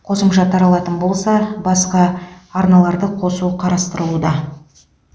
қосымша таралатын болса басқа арналарды қосу қарастырылуда